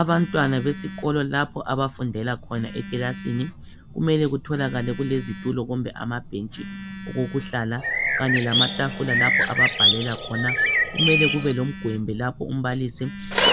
Abantwana besikolo lapho abafundela khona ekilasini kumule kutholakale kulezitulo kumbe amabhentsi okokuhlala. Kanye lamatafula lapha ababhalela khona. Kumele kubelomgwembe lapho umbalisi